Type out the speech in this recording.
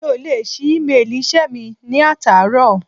Mi ò lè ṣí émeèlì iṣẹ́ mi ní àtàárọ̀.